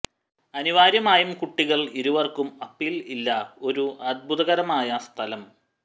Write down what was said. അനിവാര്യമായും കുട്ടികൾ ഇരുവർക്കും അപ്പീൽ ഇല്ല ഒരു അത്ഭുതകരമായ സ്ഥലം